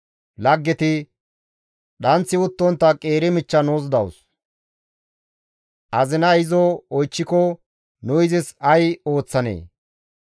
«Dhanththi uttontta qeeri michcha nuus dawus; azinay izo oychchiko nu izis ay ooththanee?